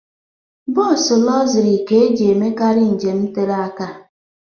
Bọs lọxụrị ka eji emekarị njem tere aka.